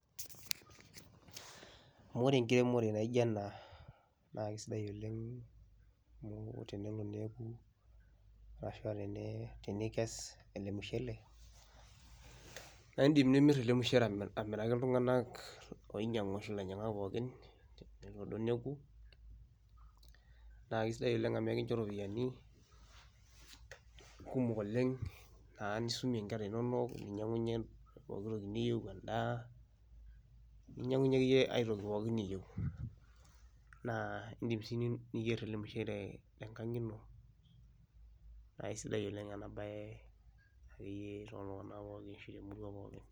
Ore enkiremore naijo enaa naa keisidai oleng' amu te nelo neaku ashu tenikes ele mushele naa kimir ele mushele amiraki iltung'ana oinyang'u arashu ilainyang'ak pooki naa kisidai amu kinchoo irupiani kumok oleng' naa nisomie inkera inono ninyang'unye pooki toki niyie, endaa , ninyang'unye akeyie ae toki pooki niyieu, naa indim sii niyer ele mushele te nkang' ino naa aisidai oleng' ena bae tooltung'ana pooki.